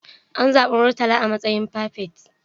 An zabi Murtala a matsayin firifet.